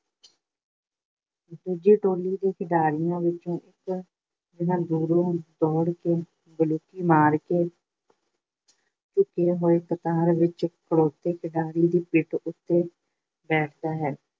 ਦੂਜੀ ਟੋਲੀ ਦੇ ਖਿਡਾਰੀਆਂ ਵਿੱਚੋਂ ਇੱਕ ਜਣਾ ਦੂਰੋਂ ਦੌੜ ਕੇ ਬਲੂਕੀ ਮਾਰ ਕੇ ਝੁਕੇ ਹੋਏ ਕਤਾਰ ਵਿੱਚ ਖੜੋਤੇ ਖਿਡਾਰੀਆਂ ਦੀ ਪਿੱਠ ਉੱਤੇ ਬੈਠਦਾ ਹੈ।